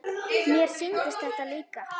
Mér sýndist þetta líka.